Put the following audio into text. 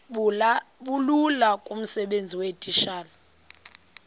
bulula kumsebenzi weetitshala